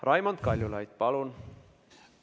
Raimond Kaljulaid, palun!